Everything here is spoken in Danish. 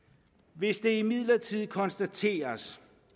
hvis det imidlertid konstateres